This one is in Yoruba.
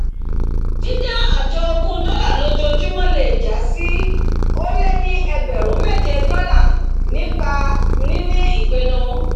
dídá àjọ ogún dólà lójojúmọ̀ le jásí ólé ní ẹgbrùn méjé dọ̀là nípa níní ìpinu